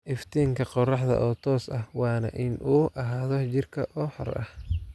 iftiinka qoraxda oo toos ah waana in uu ahaado jiirka oo xor ah